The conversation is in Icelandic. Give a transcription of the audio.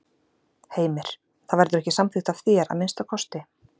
Heimir: Það verður ekki samþykkt af þér, að minnsta kosti?